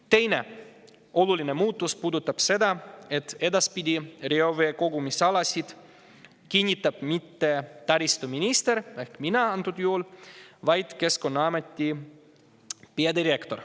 Teine oluline muudatus puudutab seda, et reoveekogumisalasid ei kinnita edaspidi mitte taristuminister – ehk praegusel juhul mina –, vaid kinnitab Keskkonnaameti peadirektor.